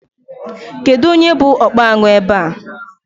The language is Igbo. Kedụ onye bụ ọkpa añụ ebe a?